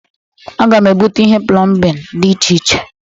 Aga m ebuta ihe plọmbịnị dị iche iche.